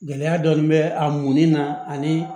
Gɛlɛya dɔɔnin bɛ a munni na ani